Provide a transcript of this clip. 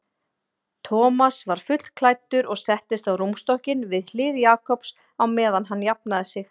Thomas var fullklæddur og settist á rúmstokkinn við hlið Jakobs á meðan hann jafnaði sig.